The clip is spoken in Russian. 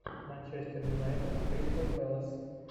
манчестер юнайтед кристал пэлас